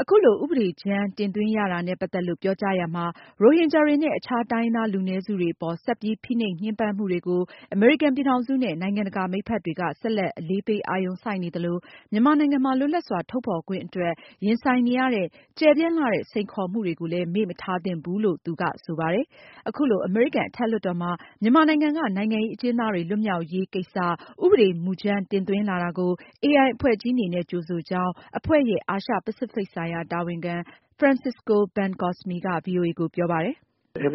အခုလို ဥပဒေကြမ်းတင်သွင်းရတာနဲ့ ပတ်သက်လို့ ပြောကြားရမှာ ရိုဟင်ဂျာတွေနဲ့ အခြား တိုင်းရင်းသားလူနည်းစုတွေအပေါ် ဆက်ပြီး ဖိနှိပ်ညှင်းပန်းမှုတွေကို အမေရိကန်ပြည်ထောင်စုနဲ့ နိုင်ငံတကာ မိတ်ဖက်တွေက ဆက်လက် အလေးပေးအာရုံစိုက်နေသလို မြန်မာနိုင်ငံမှာ လွတ်လပ်စွာ ထုတ်ဖေါ်ခွင့်အတွက် ရင်ဆိုင်နေရတဲ့ ကျယ်ပြန့်လှတဲ့ စိန်ခေါ်မှုတွေကိုလည်း မေ့မထားသင့်ဘူးလို့ ဆိုပါတယ်။ အခုလို အမေရိကန်အထက်လွှတ်တော်မှာ မြန်မာနိုင်ငံက နိုင်ငံရေးအကျဉ်းသား တွေလွတ်မြောက်ရေး ကိစ္စ ဥပဒေမူကြမ်းတင်သွင်းလာတာကို AI အဖွဲ့ကြီးအနေနဲ့ ကြိုဆိုကြောင်း အဖွဲ့ရဲ့ အာရှ ပစိဖိတ်ဆိုင်ရာ တာဝန်ခံ Francisco Bencosme က ဗွီအိုအေကို ပြောပါတယ်။ “ ဒီဥပ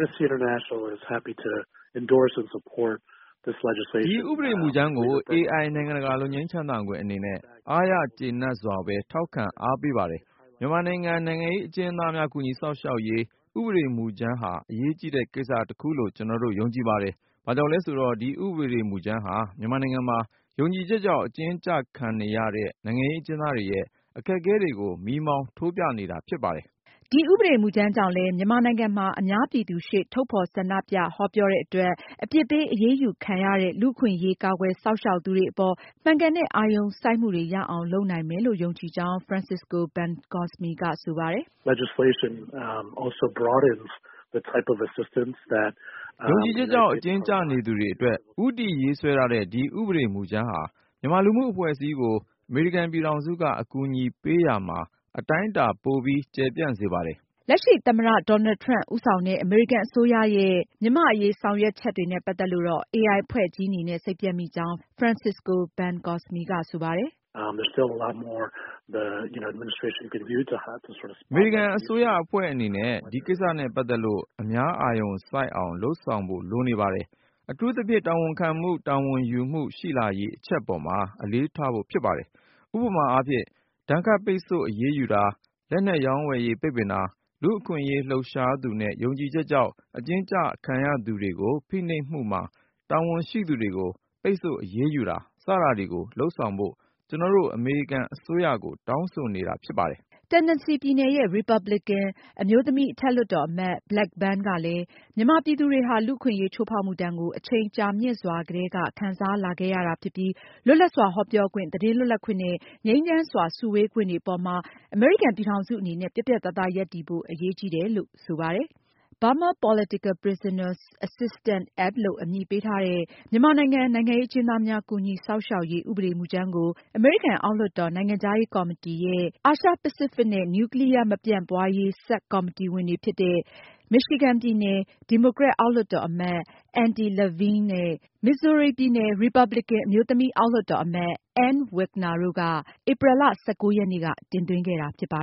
ဒေမူကြမ်းကို AI နိုင်ငံတကာ လွတ်ငြိမ်းချမ်းသာခွင့်အနေနဲ့ အားရကျေနပ်စွာပဲ ထောက်ခံအားပေးပါတယ်။ မြန်မာနိုင်ငံ နိုင်ငံရေးအကျဉ်းသားများ ကူညီစောင့်ရှောက်ရေး ဥပဒေမူကြမ်း ဟာ အရေးကြီးတဲ့ ကိစ္စတခုလို့ ကျနော်တို့ ယုံကြည်ပါတယ်။ ဘာကြောင့်လဲဆိုတော့ ဒီဥပဒေမူကြမ်းဟာ မြန်မာနိုင်ငံမှာ ယုံကြည်ချက်ကြောင့် အကျဉ်းကျခံနေရတဲ့ နိုင်ငံရေးအကျဉ်းသားတွေရဲ့ အခက်အခဲတွေ ကို မီးမှောင်ထိုးပြနေတာဖြစ်ပါတယ်။ ဒီဥပဒေမူကြမ်းကြောင့်လည်း မြန်မာနိုင်ငံမှာ အများပြည်သူရှေ့ ထုတ်ဖေါ်ဆန္ဒပြ၊ ဟောပြောတဲ့ အတွက် အပြစ်ပေးအရေးယူခံရတဲ့ လူ့အခွင့်အရေးကာကွယ်စောင့်ရှောက်သူတွေ အပေါ် မှန်ကန်တဲ့ အာရုံစိုက်မှု ရအောင်လုပ်နိုင်မယ်လို့ ယုံကြည်ကြောင်း Francisco Bencosme က ဆိုပါတယ်။ “ယုံကြည်ချက်ကြောင့် အကျဉ်းကျနေသူတွေအတွက် ဦးတည်ရေးဆွဲထားတဲ့ ဒီဥပဒေမူကြမ်းဟာ မြန်မာလူမှုအဖွဲ့အစည်းကို အမေရိကန်ပြည်ထောင်စုက အကူအညီပေးရာမှာ အတိုင်းအတာ ပိုပြီး ကျယ်ပြန့်စေပါတယ်။ လက်ရှိ သမ္မတ Donald Trump ဦးဆောင်တဲ့ အမေရိကန်အစိုးရရဲ့ လက်ရှိ မြန်မာ့အရေးဆောင်ရွက်ချက်တွေနဲ့ ပတ်သက်လို့ AI အဖွဲ့ကြီးအနေနဲ့ စိတ်ပျက်မိကြောင်း Francisco Bencosme ကဆိုပါတယ်။ “အမေရိကန်အစိုးရအဖွဲ့ အနေနဲ့ ဒီကိစ္စနဲ့ ပတ်သက်လို့ အများအာရုံစိုက်အောင် လုပ်ဆောင်ဖို့ လိုနေပါတယ်။ အထူးသဖြင့် တာဝန်ယူမှု တာဝန်ခံမှု ရှိလာရေးအချက်အပေါ်မှာ အလေးထားဖို့ ဖြစ်ပါတယ်။ ဥပမာအားဖြင့် ဒဏ်ခတ်ပိတ်ဆို့အရေးယူတာ လက်နက်ရောင်းဝယ်ရေး ပိတ်ပင်တာ ၊ လူ့အခွင့်အရေးလှုပ်ရှားသူနဲ့ ယုံကြည်ချက်ကြောင့် အကျဉ်းကျခံရသူတွေကို ဖိနှိပ်မှုမှာ တာဝန်ရှိသူတွေကို ပိတ်ဆို့အရေးယူတာ စတာတွေကို လုပ်ဆောင်ဖို့ ကျနော်တို့ အမေရိကန်အစိုးရကို တောင်းဆိုနေတာဖြစ်ပါတယ်။” Tennessee ပြည်နယ်ရဲ့ ရီပါပလင်ကန် အမျိုးသမီး အထက်လွှတ်တော်အမတ် Blackburn ကလည်း မြန်မာပြည်သူတွေဟာ လူ့အခွင့်အရေးချိုးဖောက်မှုဒဏ်ကို အချိန်ကြာမြင့်စွာ ကတည်းက ခံစားလာခဲ့ရတာ ဖြစ်ပြီး လွတ်လပ်စွာ ဟောပြောခွင့်၊ သတင်းလွတ်လပ်ခွင့်နဲ့ ငြိမ်းချမ်းစွာစုဝေးခွင့် တွေအပေါ်မှာ အမေရိကန်ပြည်ထောင်စုအနေနဲ့ ပြတ်ပြတ်သားသားရပ်တည်ဖို့ အရေးကြီးတယ်လို့ ပြောပါတယ်။ Burma Political Prisoners Assistance Act လို့ အမည်ပေးထားတဲ့ မြန်မာနိုင်ငံ နိုင်ငံရေးအကျဉ်းသားများ ကူညီစောင့်ရှောက်ရေး ဥပဒေမူကြမ်းကို အမေရိကန်အောက်လွှတ်တော် နိုင်ငံခြားရေးကော်မတီရဲ့ အာရှ ပစိဖိတ်နဲ့ နျူကလီးယား မပြန့်ပွားရေး ဆပ်ကော်မတီ ဝင်တွေဖြစ်တဲ့ Michigan ပြည်နယ် ဒီမိုကရက် အောက်လွှတ်တော်အမတ် Andy Levin နဲ့ Missouri ပြည်နယ် ရီပါပလင်ကန် အမျိုးသမီး အောက်လွှတ်တော်အမတ် Ann Wagner တို့က ဧပြီလ (၁၉)ရက်နေ့က တင်သွင်းခဲ့တာဖြစ်ပါ